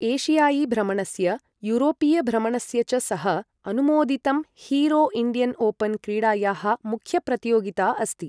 एशियाई भ्रमणस्य, यूरोपीय भ्रमणस्य च सह अनुमोदितं हीरो इण्डियन ओपन क्रीडायाः मुख्य प्रतियोगिता अस्ति ।